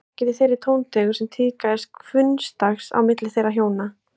Það var ekki í þeirri tóntegund sem tíðkaðist hvunndags á milli þeirra hjóna.